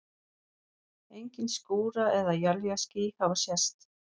Engin skúra- eða éljaský hafa sést.